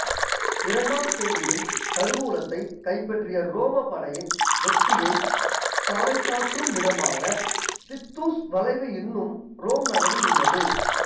இரண்டாம் கோவிலின் கருவூலத்தை கைப்பற்றிய உரோம படையின் வெற்றியை பாறைசாற்றும் விதமாக தித்தூஸ் வளைவு இன்றும் உரோம் நகரில் உள்ளது